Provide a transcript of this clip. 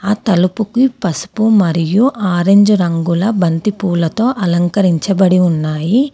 ఆ తలుపుకి పసుపు మరియు ఆరంజ్ రంగుల బంతిపూలతో అలంకరించబడి ఉన్నాయి.